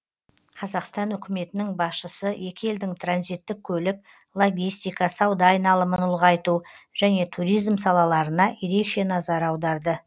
қазақстан үкіметінің басшысы екі елдің транзиттік көлік логистика сауда айналымын ұлғайту және туризм салаларына ерекше назар аударды